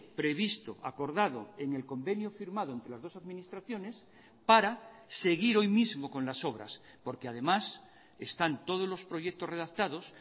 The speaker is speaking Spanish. previsto acordado en el convenio firmado entre las dos administraciones para seguir hoy mismo con las obras porque además están todos los proyectos redactados